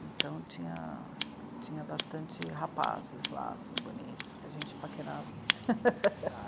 Então tinha bastante rapazes lá, assim, bonitos, que a gente paquerava.